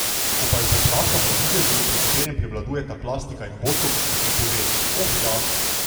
Ko pa jo povprašam o videzu, pri katerem prevladujeta plastika in botoks, mi pove: 'Oh, ja ...